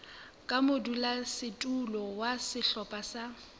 ka modulasetulo wa sehlopha sa